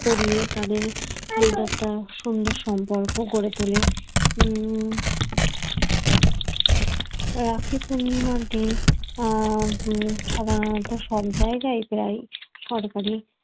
পরিয়ে তাদের সঙ্গে একটা সুন্দর সম্পর্ক গড়ে তোলে উম রাখি পূর্ণিমার দিন উম সব জায়গায় প্রায় সরকারি